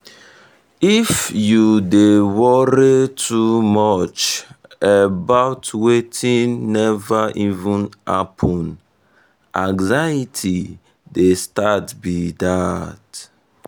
if you um dey worry too much um about wetin never even happen anxiety dey start be um that.